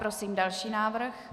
Prosím další návrh.